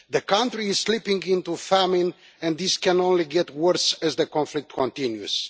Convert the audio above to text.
The country is slipping into famine, and this can only get worse as the conflict continues.